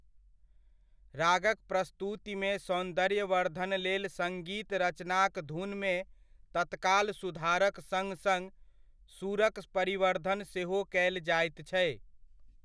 रागक प्रस्तुतिमे सौन्दर्यवर्द्धन लेल सङ्गीत रचनाक धुनमे तत्काल सुधारक सङ सङ सुरक परिवर्धन सेहो कयल जाइत छै।